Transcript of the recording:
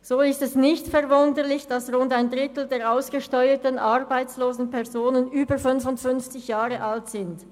So ist es nicht verwunderlich, dass rund ein Drittel der ausgesteuerten arbeitslosen Personen über 55 Jahre alt sind.